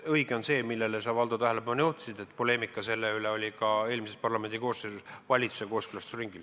Õige on see, millele sa, Valdo, tähelepanu juhtisid, et poleemika selle üle oli ka eelmise parlamendikoosseisu ajal valitsuse kooskõlastusringil.